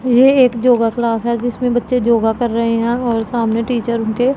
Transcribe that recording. ये एक योगा क्लास है जिसमें बच्चे योगा कर रहे हैं और सामने टीचर उनके--